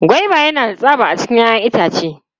Goba yana da tsaba a cikin 'ya'yan itace.